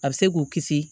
A bɛ se k'u kisi